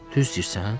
Düz deyirsən?